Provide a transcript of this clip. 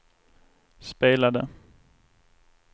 spelade